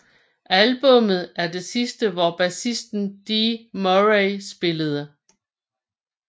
Albummet er det sidste hvor bassisten Dee Murray spillede